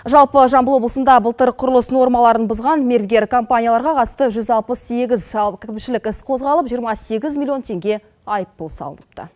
жалпы жамбыл облысында былтыр құрылыс нормаларын бұзған мергер компанияларға қатысты жүз алпыс сегіз салық кірпікшілік іс қозғалып жиырма сегіз миллион тенге айыппұл салыныпты